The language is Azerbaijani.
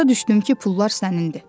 Başa düşdüm ki, pullar sənindir.